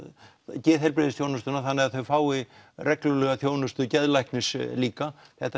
geðheilbrigðisþjónustuna þannig að þau fái reglulega þjónustu geðlæknis líka þetta